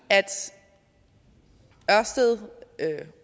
at ørsted